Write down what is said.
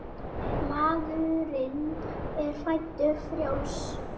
Maðurinn er fæddur frjáls.